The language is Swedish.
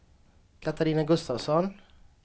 Katarina Gustavsson